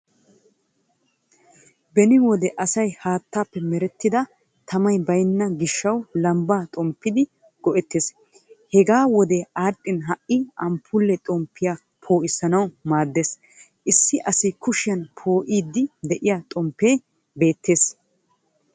Beni wode asay haattaappe merettida tamay baynna gishshawu lambba xomppidi go'ettees. Hegee wodee adhdhin ha'i amppuule xomppiyaa poissanawu maaddees. Issi asa kushshiyan po''iddi de'iyaa xomppee beettees.